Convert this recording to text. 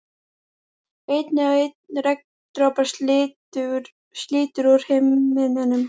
Einn og einn regndropa slítur úr himninum.